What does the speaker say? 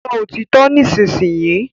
Sọ òtítọ́ nísinsìnyí!